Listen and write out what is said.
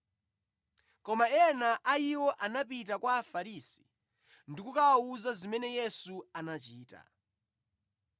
Koma ena a iwo anapita kwa Afarisi ndi kukawawuza zimene Yesu anachita.